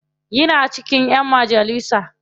Yana cikin ƴan majalisa.